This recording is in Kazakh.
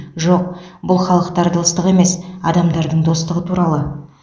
жоқ бұл халықтар достығы емес адамдардың достығы туралы